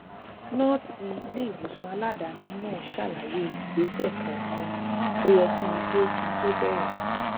nóòsì iléìwòsàn aladaani náà ṣàlàyé ìgbésè kòòkan tó yẹ kí n gbé kí n tó bèrè